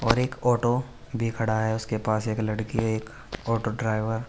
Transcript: और एक ओटो भी खड़ा है उसके पास एक लड़की एक ओटो ड्राइवर --